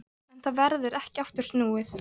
En það verður ekki aftur snúið.